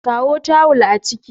Kawo tawul a ciki